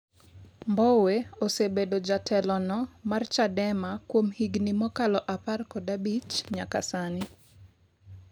Mbowe osebedo jatelono mar Chadema kuom higni mokalo apar kod abich nyaka sani